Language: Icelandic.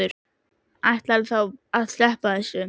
Ætlarðu þá bara að sleppa þessu?